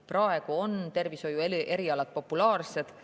Praegu on tervishoiuerialad populaarsed.